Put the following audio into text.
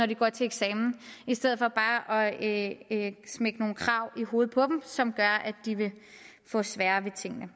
de går til eksamen i stedet for bare at smække nogle krav i hovedet på dem som gør at de vil få sværere ved tingene